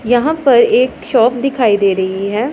यहां पर एक शॉप दिखाई दे रही है।